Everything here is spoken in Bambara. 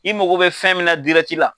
I mago bɛ fɛn min na la.